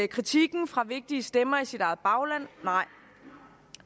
kritikken fra vigtige stemmer i sit eget bagland nej